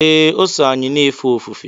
ee, o so anyị na-efe ofufe